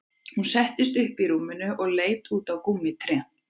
Hún settist upp í rúminu og leit út á gúmmítrén